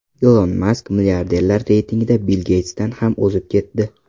Ilon Mask milliarderlar reytingida Bill Geytsdan ham o‘zib ketdi.